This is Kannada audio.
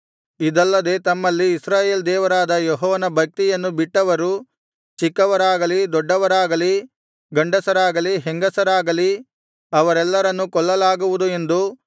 ಇದಲ್ಲದೆ ತಮ್ಮಲ್ಲಿ ಇಸ್ರಾಯೇಲ್ ದೇವರಾದ ಯೆಹೋವನ ಭಕ್ತಿಯನ್ನು ಬಿಟ್ಟವರು ಚಿಕ್ಕವರಾಗಲಿ ದೊಡ್ಡವರಾಗಲಿ ಗಂಡಸರಾಗಲಿ ಹೆಂಗಸರಾಗಲಿ ಅವರೆಲ್ಲರನ್ನೂ ಕೊಲ್ಲಲಾಗುವುದು ಎಂದು